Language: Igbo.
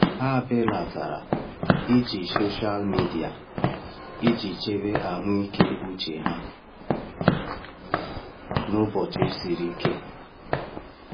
Ha belatara iji soshal midia iji chebe ahụike uche ha n’ụbọchị siri ike.